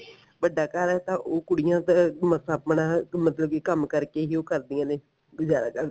ਵੱਡਾ ਘਰ ਐ ਤਾਂ ਉਹ ਕੁੜੀਆਂ ਬੱਸ ਆਪਣਾ ਕੀ ਮਤਲਬ ਕਿ ਕੰਮ ਕਰਕੇ ਹੀ ਉਹ ਕਰਦੀਆਂ ਨੇ ਗੁਜਾਰਾ ਕਰਦੀਆਂ